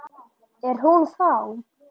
Er hún þá.